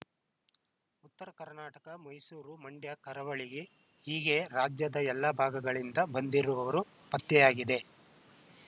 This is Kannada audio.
ಉತ್ತರ ಕರ್ನಾಟಕ ಮೈಸೂರು ಮಂಡ್ಯ ಕರಾವಳಿ ಹೀಗೆ ರಾಜ್ಯದ ಎಲ್ಲ ಭಾಗಗಳಿಂದ ಬಂದಿರುವವರು ಪತ್ತೆಯಾಗಿದೆ